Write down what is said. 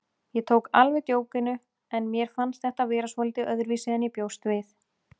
Ég tók alveg djókinu en mér fannst þetta vera svolítið öðruvísi en ég bjóst við.